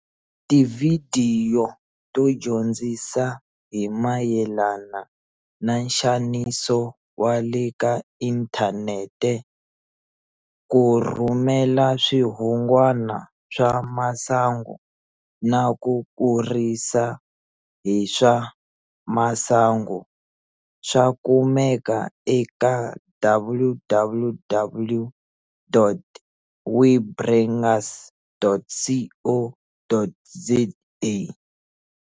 Tivhidiyo to dyondzisa hi mayelana na nxaniso wa le ka inthanete, ku rhumela swihungwana swa masangu na ku kurisa hi swa masangu, swa kumeka eka www.webrangers.co.za.